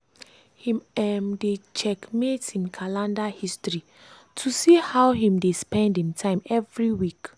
him um dey checkmate him calender history to see how him dey spend him time every week.